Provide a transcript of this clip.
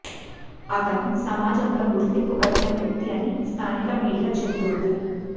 అతను సమాజంలో గుర్తింపు కలిగిన వ్యక్తి అని స్థానిక మీడియా చెబుతోంది